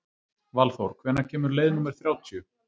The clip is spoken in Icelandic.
Valþór, hvenær kemur leið númer þrjátíu?